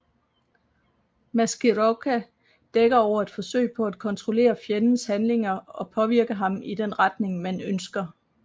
Maskirovka dækker over et forsøg på at kontrollere fjendens handlinger og påvirke ham i den retning man ønsker